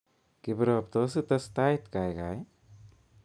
Kiprop tos ites tait kaikai